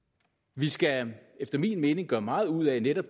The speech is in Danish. vi skal efter min mening gøre meget ud af netop